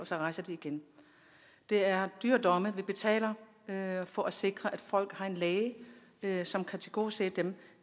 så rejser igen det er i dyre domme vi betaler for at sikre at folk har en læge som kan tilgodese dem